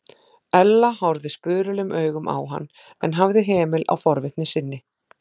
Ella horfði spurulum augum á hann en hafði hemil á forvitni sinni.